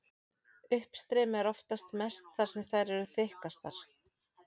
Uppstreymi er oftast mest þar sem þær eru þykkastar.